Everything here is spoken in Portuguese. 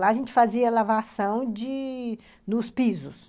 Lá a gente fazia lavação de nos pisos.